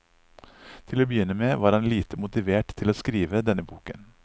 Til å begynne med, var han lite motivert til å skrive denne boken.